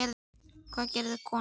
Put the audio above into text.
Hvað gerir kona?